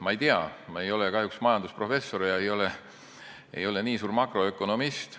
Ma ei tea, ma ei ole kahjuks majandusprofessor ega ole ka nii suur makroökonomist.